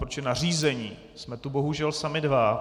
Protože na řízení jsme tu bohužel sami dva.